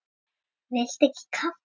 Viltu ekki kaffi?